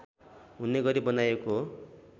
हुने गरी बनाइएको हो